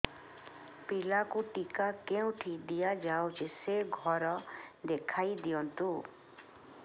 ପିଲାକୁ ଟିକା କେଉଁଠି ଦିଆଯାଉଛି ସେ ଘର ଦେଖାଇ ଦିଅନ୍ତୁ